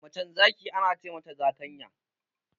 Macen zaki Ana ce mata zakanya.